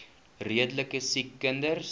redelike siek kinders